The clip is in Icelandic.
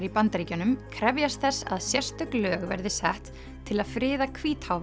í Bandaríkjunum krefjast þess að sérstök lög verði sett til að friða